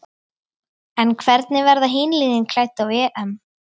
En hvernig verða hin liðin klædd á EM?